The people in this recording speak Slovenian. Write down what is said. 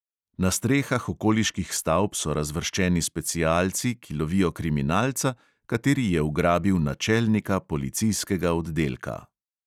Na strehah okoliških stavb so razvrščeni specialci, ki lovijo kriminalca, kateri je ugrabil načelnika policijskega oddelka.